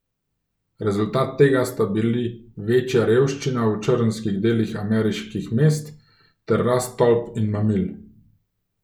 Rezultat tega sta bili večja revščina v črnskih delih ameriških mest ter rast tolp in mamil.